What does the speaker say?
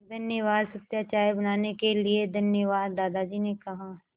धन्यवाद सत्या चाय बनाने के लिए धन्यवाद दादाजी ने कहा